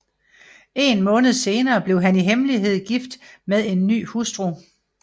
En måned senere blev han i hemmelighed gift med en ny hustru